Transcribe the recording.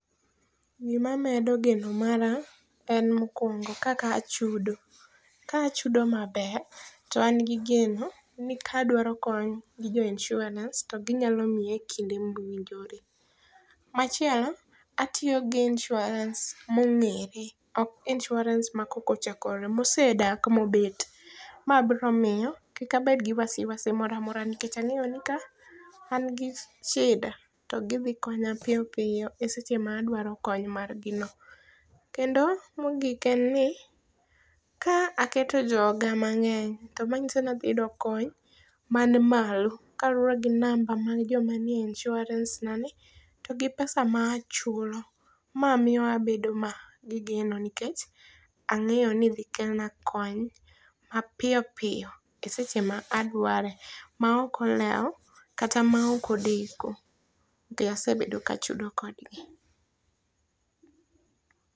Gima medo geno mara en mokwongo kaka achudo. Ka achudo maber to an gi geno ni kadwaro kony gi jo insurans to ginyalo miya e kinde mowinjore. Machielo atiyo gi insurans mong'ere ok insurans ma kok ochakore mosedak mobet. Ma biro miyo kik abed gi wasi wasi moro amora nikech ang'eyo ni ka an gi shida to gidhi konya piyo piyo e seche madwaro kony mar gi no. Kendo mogik en ni ka aketo joga mang'eny to manyiso ni adhi yudo kony man malo kalure gi namba mar joma ni e insurans na ni to gi pesa machula. Ma miyo abedo gi geno nikech ang'eyo ni idhi kelna kony mapiyo piyo e seche ma adware ma ok olewo kata ma ok odeko nikech asebedo ka achudo kodgi.